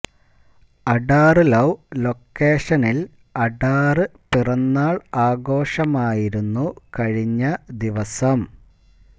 അഡാറ് love ലൊക്കേഷനിൽ അഡാറ് പിറന്നാൾ ആഘോഷമായിരുന്നു കഴിഞ്ഞ ദിവസം